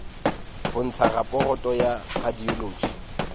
ho ntsha raporoto ya radiology